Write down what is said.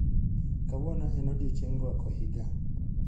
Kawuono en odiechieng' rwako higa.